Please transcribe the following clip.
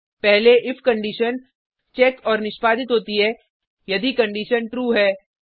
पहले if condition check और निष्पादित होती है यदि कंडिशन ट्रू है